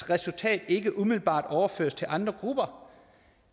resultat ikke umiddelbart kan overføres til andre grupper